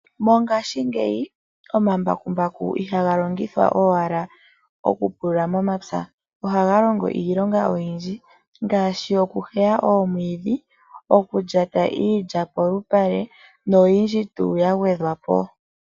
Mongashingeyi omambakumbaku ihaga longithwa owala okupulula momapya ohaga longo iilonga oyindji ngaashi okuheya omwiidhi okulyata iilya polupale noyindji tuu ya gwedhwa po.